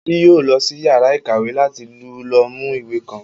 Bísí yóò lọ sí yàrá ìkàwé láti lọ mú ìwé kan